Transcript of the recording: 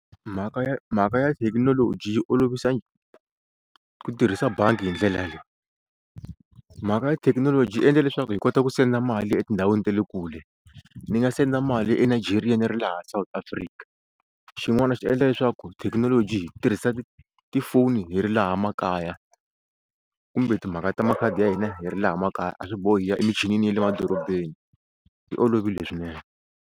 Mhaka ya mhaka ya thekinoloji yi olovisa ku tirhisa bangi hi ndlela leyi mhaka ya thekinoloji yi endla leswaku hi kota ku senda mali etindhawini ta le kule ni nga senda mali eNigeria ni ri laha South Afrika xin'wana swi endla leswaku thekinoloji hi tirhisa tifoni hi ri laha makaya kumbe timhaka ta makhadi ya hina hi ri laha makaya a swi bohi hi ya emichinini ya le madorobeni swi olovile swinene.